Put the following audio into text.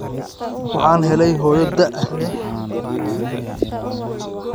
Waxaan helay hooyo da' ah